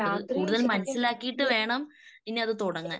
അത് കൂടുതൽ മനസിലാക്കിയിട്ട് വേണം പിന്നത് തുടങ്ങാൻ